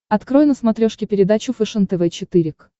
открой на смотрешке передачу фэшен тв четыре к